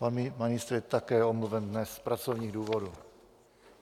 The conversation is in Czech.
Pan ministr je také omluven dnes z pracovních důvodů.